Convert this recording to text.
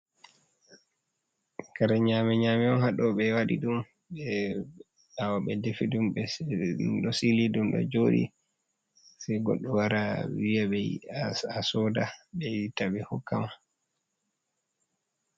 Kare nyame nyame on haaɗo, ɓe waɗi ɗum ɓe ɓawe ɓe defi ɗum, ɗum ɗo sili, ɗum ɗo joɗi, sei goɗɗo wara wiya ɓe yiɗa haa soda ɓe itta ɓe hokkama.